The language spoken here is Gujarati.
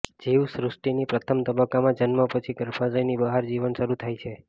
જીવસૃષ્ટિની પ્રથમ તબક્કામાં જન્મ પછી ગર્ભાશયની બહાર જીવન શરૂ થાય છે